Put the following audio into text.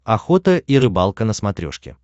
охота и рыбалка на смотрешке